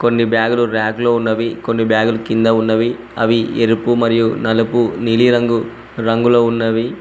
కొన్ని బ్యాగులు రాక్ లో ఉన్నవి కొన్ని బ్యాగులు కింద ఉన్నవి అవి ఎరుపు మరియు నలుపు నీలిరంగు రంగులో ఉన్నవి.